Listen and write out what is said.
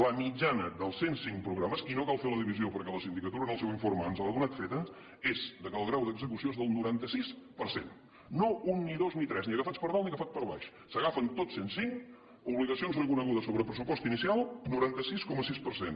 la mitjana dels cent cinc programes i no cal fer la divisió perquè la sindicatura en el seu informe ens l’ha donat feta és que el grau d’execució és del noranta sis per cent no un ni dos ni tres ni agafat per dalt ni agafat per baix s’agafen tots cent cinc obligacions reconegudes sobre el pressupost inicial noranta sis coma sis per cent